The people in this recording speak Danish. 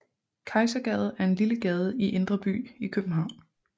Kejsergade er en lille gade i Indre By i København